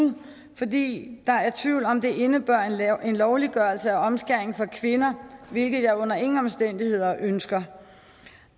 fordi der er tvivl om om der indebærer en lovliggørelse af omskæring af kvinder hvilket jeg under ingen omstændigheder ønsker